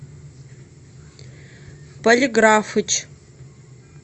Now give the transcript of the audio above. полиграфыч